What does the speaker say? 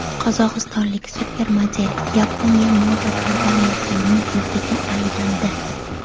Qozog‘istonlik supermodel Yaponiya moda kompaniyasining yuziga aylandi.